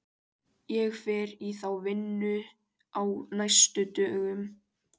Ég fer í þá vinnu á næstu dögum.